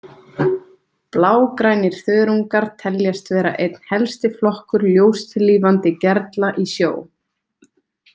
Blágrænir þörungar teljast vera einn helsti flokkur ljóstillífandi gerla í sjó.